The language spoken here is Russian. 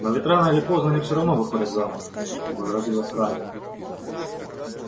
но ведь рано или поздно они всё равно выходят замуж возразила скарлетт